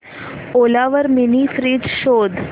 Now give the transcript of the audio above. ओला वर mini fridge शोध